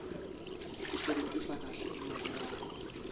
kusebentisa kahle imali yakho